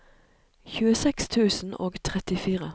tjueseks tusen og trettifire